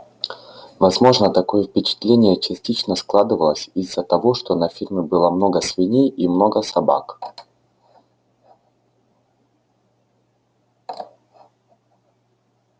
возможно такое впечатление частично складывалось из-за того что на ферме было много свиней и много собак